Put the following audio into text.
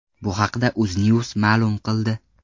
Bu haqda UzNews ma’lum qildi .